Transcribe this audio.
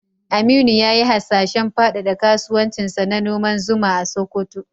Aminu ya yi hasashen fadada kasuwancinsa na noman zuma a Sokoto.